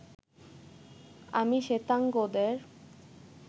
আমি শ্বেতাঙ্গদের